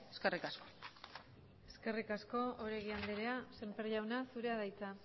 eskerrik asko eskerrik asko oregi andrea semper jauna zurea da hitza